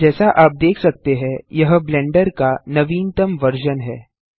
जैसा आप देख सकते हैं यह ब्लेंडर का नवीनतम वर्जन है